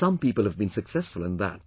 Some people have been successful in that